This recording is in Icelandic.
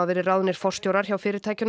verið ráðnir forstjórar hjá fyrirtækjunum